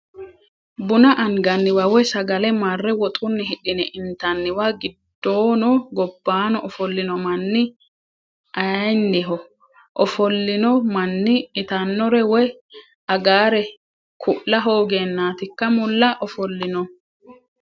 Buna anganniwa woyi sagale marre woxunni hidhine intanniwa giddoono gobbano ofolino manni ayiinniho? Ofolinno manni itanore woyi agare ku'la hoogenatikka mulla ofollinohu?